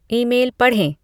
email पढ़ें